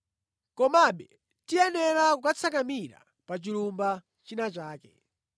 Komabe tiyenera kukatsakamira pa chilumba china chake.”